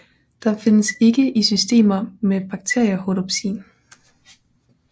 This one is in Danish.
De findes ikke i systemer med bakterierhodopsin